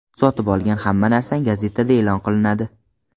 Sotib olgan hamma narsang gazetada e’lon qilinadi.